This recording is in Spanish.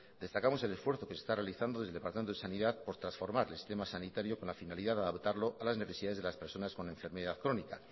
destacamos el esfuerzo que se está realizando desde el departamento de sanidad por transformar el sistema sanitario con la finalidad de adaptarlo a las necesidades de las personas con enfermedad crónica